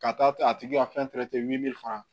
Ka taa a tigi ka fɛn wili fana